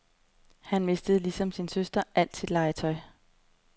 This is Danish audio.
Han mistede ligesom sin søster alt sit legetøj.